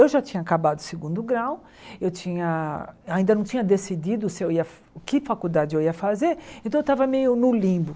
Eu já tinha acabado o segundo grau, eu tinha ainda não tinha decidido se eu ia que faculdade eu ia fazer, então eu estava meio no limbo.